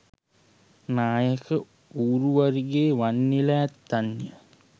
නායක ඌරුවරිගේ වන්නියලැ ඇත්තන්ය.